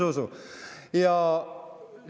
On ju, Zuzu?